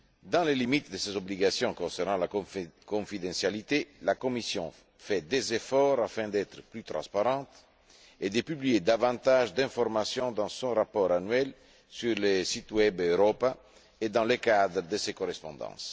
Dans les limites de ses obligations concernant la confidentialité, la Commission fait des efforts afin d'être plus transparente et de publier davantage d'informations dans son rapport annuel sur le site web Europa et dans le cadre de ses correspondances.